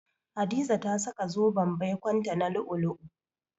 Hadiza ta saka zoben baikonta 'na lu'u-lu'u.